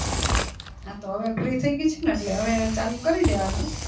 આતો હવે free થય ગય છો ને એટલે હવે ચાલુ કરી દેવાનું